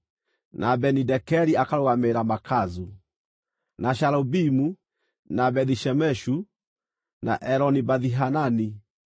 na Beni-Dekeri akarũgamĩrĩra Makazu, na Shaalubimu, na Bethi-Shemeshu, na Eloni-Bethihanani;